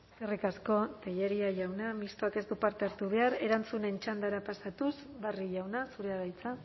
eskerrik asko tellería jauna mistoak ez du parte hartu behar erantzunen txandara pasatuz barrio jauna zurea da hitza